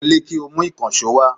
Wọlé, kí o mu ìkànsó wa